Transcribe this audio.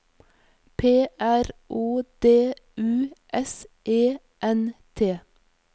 P R O D U S E N T